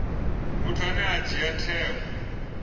muthu ane a dzhia tsheo